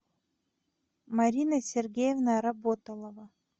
марина сергеевна работолова